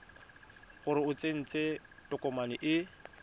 gore o tsentse tokomane e